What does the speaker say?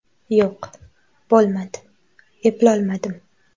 Yo‘q, bo‘lmadi, eplolmadim.